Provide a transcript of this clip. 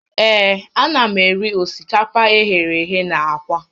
Ee, ana m eri osikapa eghere eghe na aka